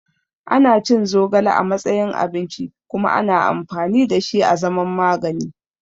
Ana cin zogale a matsayin abinci kuma ana amfani da shi a zaman magani.